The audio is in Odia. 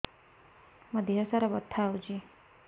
ମୋ ଦିହସାରା ବଥା ହଉଚି